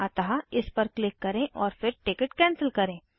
अतः इस पर क्लिक करें और फिर टिकिट कैंसिल करें